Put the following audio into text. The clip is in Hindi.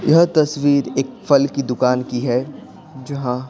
यह तस्वीर एक फल की दुकान की है जहां--